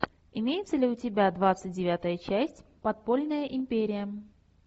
имеется ли у тебя двадцать девятая часть подпольная империя